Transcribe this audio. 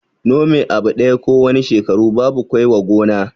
Nome abu ɗaya ko wane shekara babu kwai wa gona